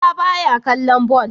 Isa baya kallon ball